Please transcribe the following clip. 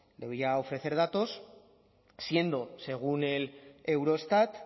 debería ofrecer datos siendo según el eurostat